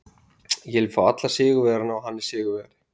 Ég vil fá alla sigurvegara og hann er sigurvegari.